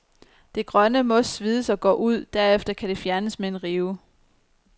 Det grønne mos svides og går ud, derefter kan det fjernes med en rive.